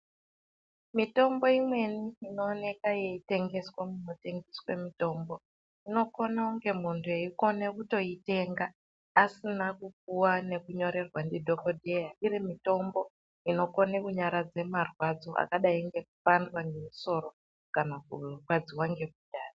Mitombo imweni inoonwa ichitengeswa munotengeswa mitombo zvinokona umwe muntu eikona kuitenga asina kupuwa nekunyorerwa madhokodheya iri mitombo inokwanisa kunyaradza marwadzo akaita sekupanda nesoro kana kurwadziwa nemundani.